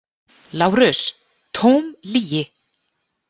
LÁRUS: Tóm lygi!